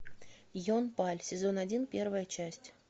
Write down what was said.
ен паль сезон один первая часть